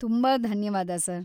ತುಂಬಾ ಧನ್ಯವಾದ, ಸರ್.